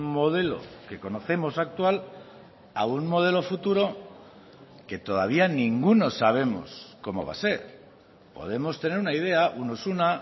modelo que conocemos actual a un modelo futuro que todavía ninguno sabemos cómo va a ser podemos tener una idea unos una